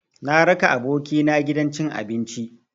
Na raka abokina gidan cin abinci.